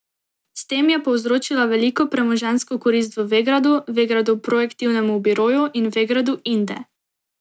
S tem je povzročila veliko premoženjsko korist Vegradu, Vegradu Projektivnemu biroju in Vegradu Inde.